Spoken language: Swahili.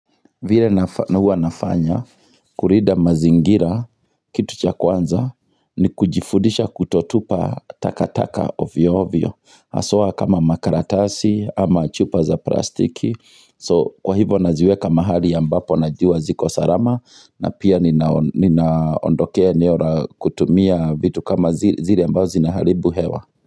Vile na huwa nafanya, kurida mazingira, kitu cha kwanza, ni kujifudisha kutotupa taka taka ovyo ovyo. Haswa kama makaratasi, ama chupa za plastiki. So, kwa hivo naziweka mahali mbapo najua ziko salama, na pia ninaondokea eneo la kutumia vitu kama zile ambao zinaharibu hewa.